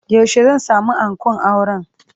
Yaushe zan sami ankon auren?